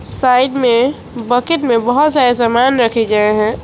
Side में bucket में बहोत सारे सामान रखें गए हैं।